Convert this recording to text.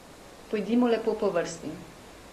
Pojdimo lepo po vrsti.